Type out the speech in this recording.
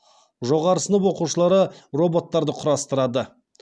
жоғары сынып оқушылары роботтарды құрастырады